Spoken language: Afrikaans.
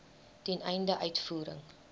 ten einde uitvoering